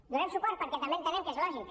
hi donarem suport perquè també entenem que és lògic